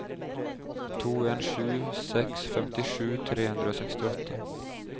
to en sju seks femtisju tre hundre og sekstiåtte